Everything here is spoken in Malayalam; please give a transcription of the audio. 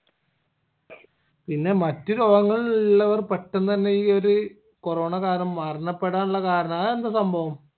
പിന്നെ മറ്റ് രോഗങ്ങൾ ഇള്ളവർ പെട്ടന്ന് അന്നെ ഈ ഒര് corona കാരണം മരണപ്പെടാനിള്ള കാരണം ആയെന്താ ഈ സംഭവം